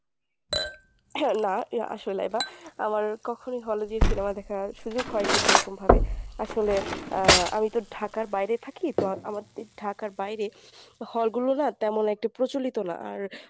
না না লাইবা আমার কখনোই hall এ গিয়ে cinema দেখার সুযোগ হয়নি সেরকমভাবে আসলে আহ আমি তো ঢাকার বাইরে থাকি তো আমাদের ঢাকার বাইরে hall গুলো না তেমন একটা প্রচলিত না আর